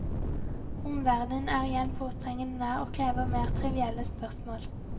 Omverdenen er igjen påtrengende nær og krever mer trivielle spørsmål.